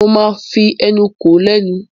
Mo máa fi ẹnu kò ó lẹ́nu.